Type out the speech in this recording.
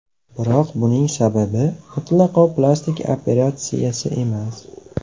Biroq buning sababi mutlaqo plastik operatsiyasi emas.